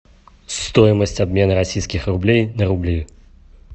стоимость обмена российских рублей на рубли